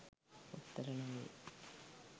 උත්තර නොවෙයි.